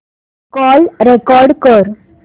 call record कर